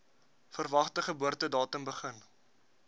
verwagte geboortedatum begin